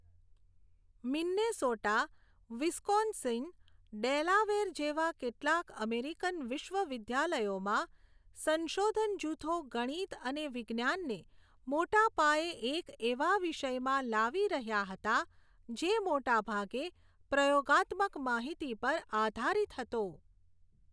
Minnesota, Wisconsin, Delaware જેવાં કેટલાંક American વિશ્વવિદ્યાલયોમાં સંશોધન જૂથો ગણિત અને વિજ્ઞાનને મોટા પાયે એક એવા વિષયમાં લાવી રહ્યા હતા જે મોટાભાગે પ્રયોગાત્મક માહિતી પર આધારિત હતો.